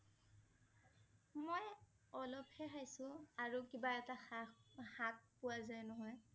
মই অলপ হে খাইছো আৰু কিবা এটা শাক~শাক পোৱা যাই নহয়